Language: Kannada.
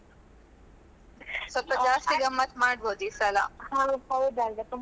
ಸ್ವಲ್ಪ ಜಾಸ್ತಿ ಆಗಿ ಗಮ್ಮತ್ ಮಾಡ್ಬೋದು ಈಸಲ.